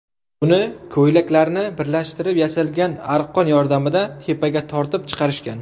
Uni ko‘ylaklarni birlashtirib yasalgan arqon yordamida tepaga tortib chiqarishgan.